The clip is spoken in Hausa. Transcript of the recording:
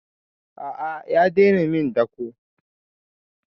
A'a ya daina min dako.